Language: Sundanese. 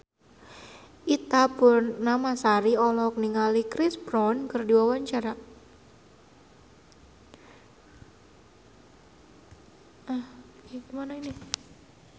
Ita Purnamasari olohok ningali Chris Brown keur diwawancara